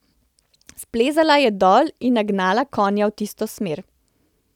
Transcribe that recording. Splezala je dol in nagnala konja v tisto smer.